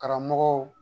Karamɔgɔw